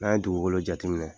N'an ye dugukolo jateminɛ,